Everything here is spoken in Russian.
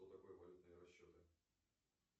что такое валютные расчеты